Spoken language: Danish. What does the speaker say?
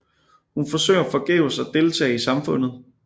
Hun forsøger forgæves at deltage i samfundet